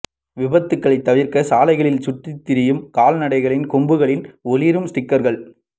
விபத்துகளைத் தவிா்க்க சாலைகளில் சுற்றித் திரியும் கால்நடைகளின் கொம்புகளில் ஒளிரும் ஸ்டிக்கா்கள்